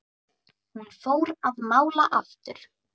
Hún fór að mála aftur.